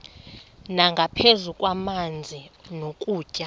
nangaphezu kwamanzi nokutya